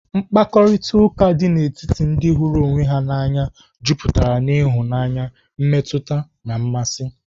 Mkparịtaụka dị n'etiti ndị hụrụ onwe ha n'anya juputara n'ịhụnanya, mmetụta na mmasị.